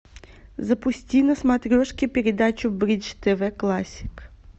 запусти на смотрешке передачу бридж тв классик